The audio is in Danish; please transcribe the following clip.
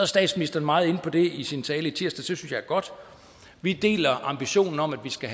statsministeren meget ind på det i sin tale i tirsdags synes jeg er godt vi deler ambitionen om at der skal